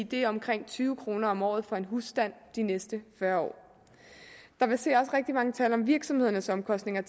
det er omkring tyve kroner om året for en husstand de næste fyrre år der verserer også rigtig mange tal for virksomhedernes omkostninger